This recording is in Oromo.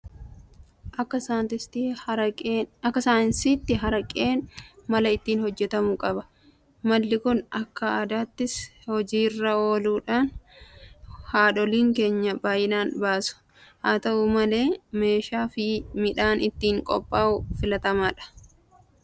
Akka saayinsiitti Haraqeen mala ittiin hojjetamu qaba. Malli kun akka aadaattis hojii irra ooluudhaan haadholiin keenya baay'inaan baasu. Haata'u malee meeshaafi midhaan ittiin qophaa'u filatamaadha. Haalli ittiin hojjetamus abiddaan waanta'eef aarri isaa rakkoo fayyaaf nama saaxila. Namoonni hojii kana hojjetan hammam fayyadamoodha?